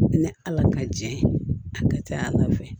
Ni ala ka jɛ ye a ka ca ala fɛ